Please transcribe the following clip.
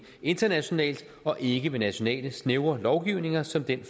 internationalt og ikke ved nationale snævre lovgivninger som den